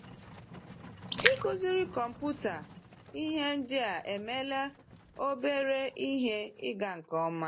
Ịkụziri kọmpụta ihe ndị a emeela obere ihe ịga nke ọma.